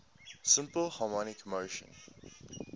simple harmonic motion